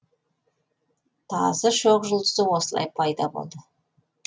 тазы шоқжұлдызы осылай пайда болды